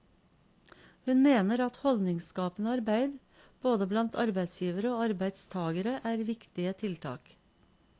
Hun mener at holdningsskapende arbeid både blant arbeidsgivere og arbeidstagere er viktige tiltak.